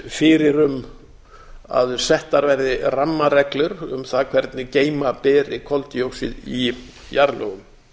fyrir um að settar verði rammareglur um það hvernig geyma beri koldíoxíð í jarðlögum